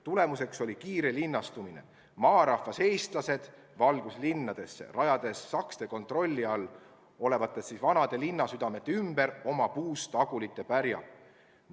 Tulemuseks oli kiire linnastumine, mille käigus maarahvas, eestlased, valgus linnadesse ja rajas sakste kontrolli all olevate vanade linnasüdamete ümber oma puust agulite pärja.